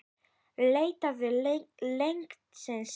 Leitaðu læknis, strax!